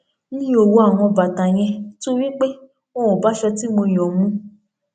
mi ò wọ àwọn bàtà yẹn nítorí pé wọn ò bá aṣọ tí mo yàn mu